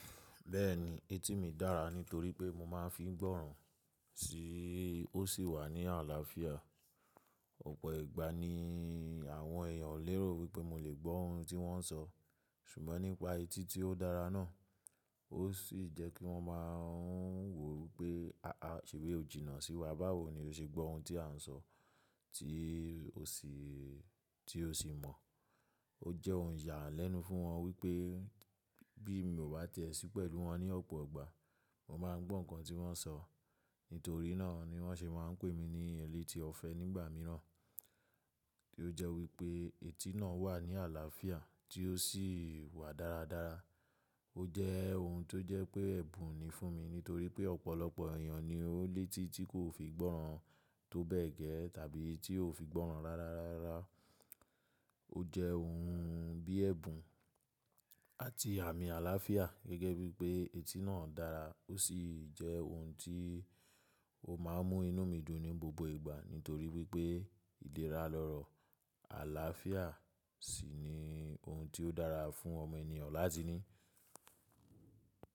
Bẹ́ẹ̀ni, etí mi dára nítorí pé mo máa ń fi gbọ́ràn sí i, ó sì wà ní àlàáfíà. Ọ̀pọ̀ ìgbà ni àwọn èèyàn lérò wípé mo lè gbọ́ ohun tí wọ́n ń sọ. Ṣùgbọ́n nípa etí tí ó dára náà, ó sì jẹ́ kí wọ́n máa ń wò wípé, àa ṣé bí o jìnnà sí wa, báwo ni o ṣe gbọ́ ohun tí a ń sọ tí o sì mọ̀?” O jẹ́ ohun ìyàlẹ́nu fún wọn wípé bí mo bá tẹ̀sí pẹ̀lú wọn ní ọ̀pọ̀ ìgbà, mo máa ń gbọ́ nǹkan tí wọ́n ń sọ. Nítorí náà ni wọ́n ṣe máa ń pè mí ní ẹlẹ́tí ọ̀fẹ́ nígbà míràn. Kí o jẹ́ wípé etí náà wà ní àlàáfíà tí ó sì wà dáradára. O jẹ́ ohun tó jẹ́ pé ẹ̀bùn ni fún mi, nítorí pé ọ̀pọ̀lọpọ̀ èèyàn ni ó ní etí tí kò fi gbọ́ràn tó bẹ́ẹ̀ gẹ́ tàbí tí kò fi gbọ́ràn rárá. O jẹ́ ohun bí ẹ̀bùn àti àmì àlàáfíà gẹ́gẹ́ bí pé etí náà dára. Ó sì jẹ́ ohun tí ó máa ń mú inú mi dùn ní gbogbo ìgbà nítorí wípé ìlérálọ́rọ̀ àlàáfíà sì ni ohun tí ó dára fún ọmọ ènìyàn láti ní.